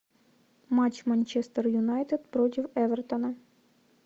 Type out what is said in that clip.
матч манчестер юнайтед против эвертона